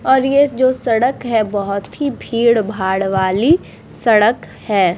और ये जो सड़क है बहुत ही भीड़-भाड़ वाली सड़क है ।